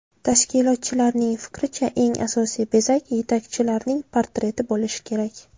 Tashkilotchilarning fikricha, eng asosiy bezak yetakchilarning portreti bo‘lishi kerak.